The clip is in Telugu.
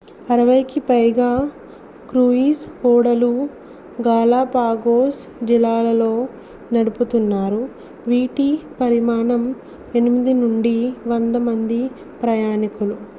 60 కి పైగా క్రూయిజ్ ఓడలు గాలాపాగోస్ జలాలలో నడుపుతున్నారు వీటి పరిమాణం 8 నుండి 100 మంది ప్రయాణికులు